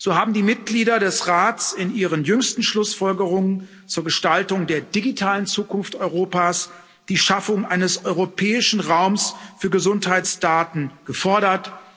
So haben die Mitglieder des Rates in ihren jüngsten Schlussfolgerungen zur Gestaltung der digitalen Zukunft Europas die Schaffung eines europäischen Raums für Gesundheitsdaten gefordert.